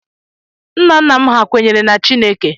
Nna nna m hà kwenyere na Chineke.